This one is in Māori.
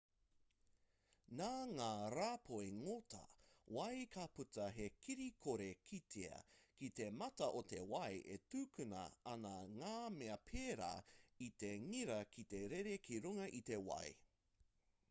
nā ngā rāpoi ngota wai ka puta he kiri kore kitea ki te mata o te wai e tukuna ana i ngā mea pērā i te ngira ki te rere ki runga i te wai